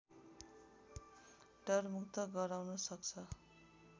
डरमुक्त गराउन सक्छ